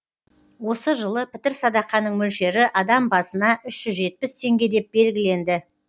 осы жылы пітір садақаның мөлшері адам басына үш жүз жетпіс теңге деп белгіленді